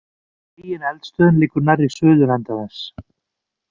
Megineldstöðin liggur nærri suðurenda þess.